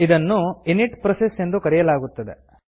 ಇದನ್ನು init init process ಎಂದು ಕರೆಯಲಾಗುತ್ತದೆ